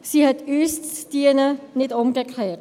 Sie hat uns zu dienen, nicht umgekehrt.